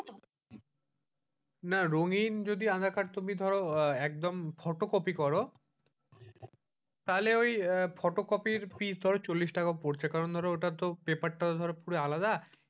না রঙ্গিন যদি আধার কার্ড তুমি ধরো একদম ফটোকপি করো তাহলে ওই ফটোকপির fees চল্লিশ টাকা পড়ছে কারণ ধরা paper টা ধরার আলাদা,